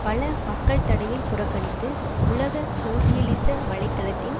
பல மக்கள் தடையை புறக்கணித்து உலக சோசியலிச வலை தளத்தின்